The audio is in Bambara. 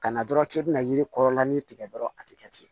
Ka na dɔrɔn k'e bɛna yiri kɔrɔla ni tigɛ dɔrɔn a tɛ kɛ ten